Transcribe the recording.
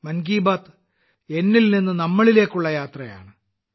മൻ കി ബാത് ഞാൻ എന്നത് എന്നിൽ നിന്ന് നമ്മളിലേക്കുള്ള യാത്രയാണ്